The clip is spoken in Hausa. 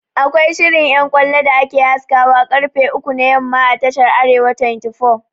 Akwai shirin ƴan ƙwallo da ake haskawa ƙarfe uku na yamma a tashar "arewa 24'